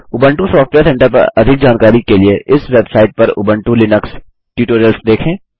Ubuntu software centre पर अधिक जानकारी के लिए इस वेबसाइट पर उबंटू लिनक्स ट्यूटोरियल्स देखें